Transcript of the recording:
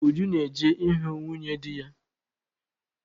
Uju ga-eje ịhụ nwunye dị ya.